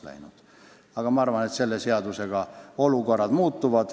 Küllap tänu sellele seadusele olukord muutub.